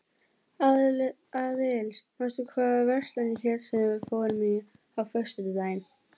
Aðils, manstu hvað verslunin hét sem við fórum í á föstudaginn?